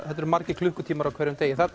þetta eru margir klukkutímar á hverjum degi